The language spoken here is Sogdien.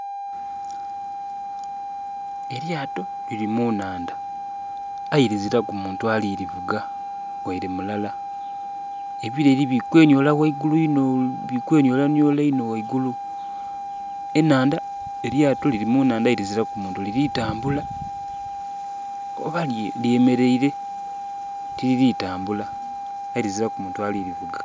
Elyaato liri munaandha aye liziraku muntu alirivuga waire mulala. Ebireri biri kweniolaniola inho waigulu. Elyaato liri munaandha liziraku muntu aye nga liri tambula oba lye mereire tiliri tambula aye liziraku muntu alirivuga.